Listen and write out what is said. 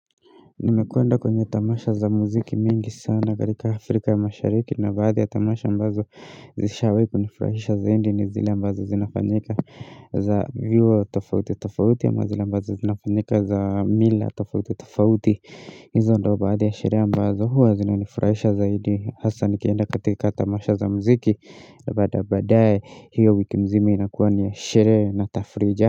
Nimekwenda kwenye tamasha za muziki mingi sana katika afrika ya mashariki na baadhi ya tamasha ambazo zishawahi kunifurahisha zahindi ni zile ambazo zinafanyika za vyuo tofauti tofauti ama zile ambazo zinafanyika za mila tofauti tofauti hizo ndio baadhi ya sherehe ambazo huwa zinanifurahisha zaidi hasa nikienda katika tamasha za muziki na baadae badae hiyo wiki mzimi inakuwa ni ya sherehe na tafrija.